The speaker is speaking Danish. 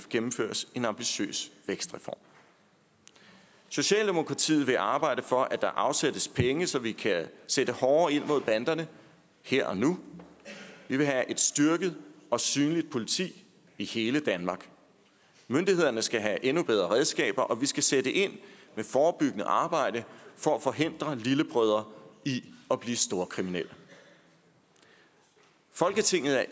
gennemføres en ambitiøs vækstreform socialdemokratiet vil arbejde for at der afsættes penge så vi kan sætte hårdere ind mod banderne her og nu vi vil have et styrket og synligt politi i hele danmark myndighederne skal have endnu bedre redskaber og vi skal sætte ind med forebyggende arbejde for at forhindre lillebrødre i at blive storkriminelle i folketinget er